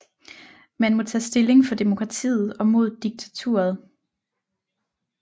Man må tage stilling for demokratiet og mod diktaturet